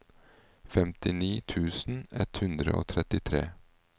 femtini tusen ett hundre og trettitre